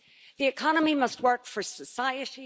The economy must work for society.